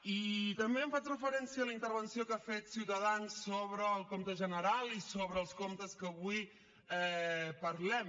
i també faig referència a la intervenció que ha fet ciutadans sobre el compte general i sobre els comptes que avui parlem